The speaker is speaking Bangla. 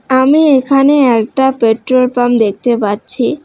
আমি এখানে একটা পেট্রোল পাম্প দেখতে পাচ্ছি।